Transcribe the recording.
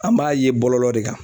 An b'a ye bɔlɔlɔ de kan